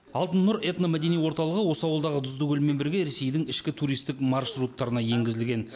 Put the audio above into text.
алтын нұр этно мәдени орталығы осы ауылдағы тұзды көлмен бірге ресейдің ішкі туристік маршруттарына енгізілген